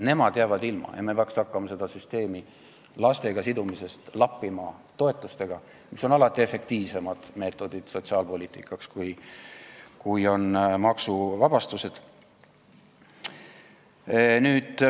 Nemad jäävad ilma ja me peaksime hakkama seda lastega sidumise süsteemi lappima toetustega, mis on sotsiaalpoliitikas alati efektiivsem meetod kui maksuvabastused.